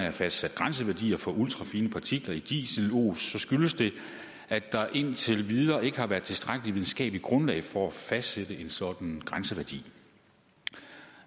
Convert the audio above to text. er fastsat grænseværdier for ultrafine partikler i dieselos skyldes det at der indtil videre ikke har været tilstrækkelig videnskabeligt grundlag for at fastsætte en sådan grænseværdi